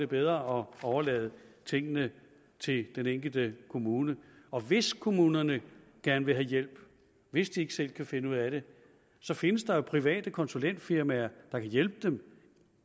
bedre at overlade tingene til den enkelte kommune og hvis kommunerne gerne vil have hjælp hvis de ikke selv kan finde ud af det så findes der jo private konsulentfirmaer der kan hjælpe dem